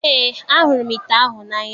Eé, ahụrụ m ite ahụ n'anya.